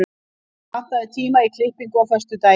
Ylfur, pantaðu tíma í klippingu á föstudaginn.